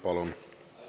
Palun!